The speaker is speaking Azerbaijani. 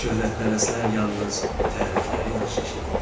Şöhrətpərəstlər yalnız tərifləri yaxşı eşidirlər.